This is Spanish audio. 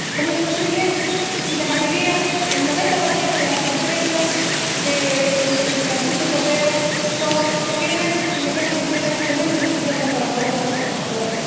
¿Cómo es posible si la mayoría ―el 90 de las empresas del conjunto europeo― son pequeñas y medianas empresas de menos de 50 trabajadores y trabajadoras?